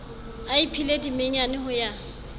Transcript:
a iphile dimenyane ho ya